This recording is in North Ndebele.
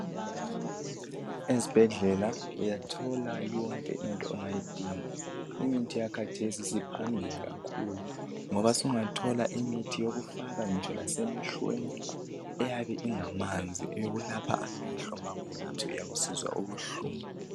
Ezibhedlela uyathola yonke into ongayidinga imithi yakhathesi siphambili kakhulu ngoba sungathola imithi yokufaka ngitsho lasemehlweni eyabe ingamanzi eyokulapha amehlo ma kuyikuthi uyabe usizwa ubuhlungu